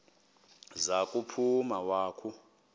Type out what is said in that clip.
za kuphuma wakhu